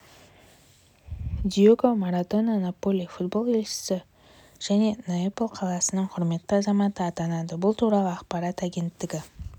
диего марадона наполи футбол клубының елшісі және неаполь қаласының құрметті азаматы атанады бұл туралы ақпарат агенттігі